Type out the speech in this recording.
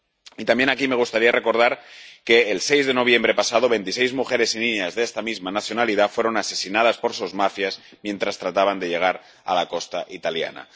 Y también aquí me gustaría recordar que, el 6 de noviembre pasado, veintiséis mujeres y niñas de esta misma nacionalidad fueron asesinadas por sus mafias cuando trataban de llegar a la costa italiana.